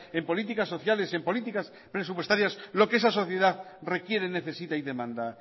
en políticas sociales en políticas presupuestarias lo que esa sociedad requiere necesita y demanda